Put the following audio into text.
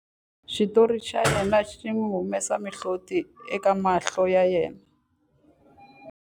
Xitori xa yena xi n'wi humesa mihloti eka mahlo ya yena.